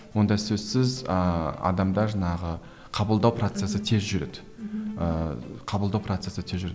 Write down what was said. онда сөзсіз ыыы адамда жаңағы қабылдау процесі тез жүреді мхм ыыы қабылдау процесі тез жүреді